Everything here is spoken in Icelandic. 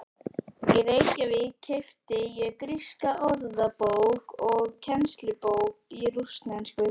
Í Reykjavík keypti ég gríska orðabók og kennslubók í rússnesku.